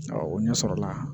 Awɔ o ɲɛsɔrɔla